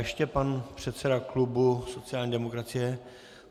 Ještě pan předseda klubu sociální demokracie.